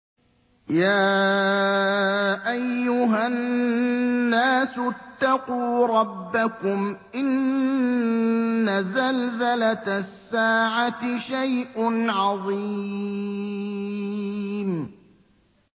يَا أَيُّهَا النَّاسُ اتَّقُوا رَبَّكُمْ ۚ إِنَّ زَلْزَلَةَ السَّاعَةِ شَيْءٌ عَظِيمٌ